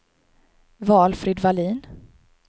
Valfrid Wallin